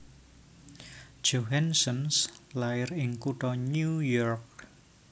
Johansson lair ing kutha New York